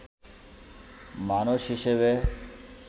মানুষ হিসাবে